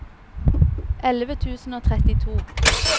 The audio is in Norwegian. elleve tusen og trettito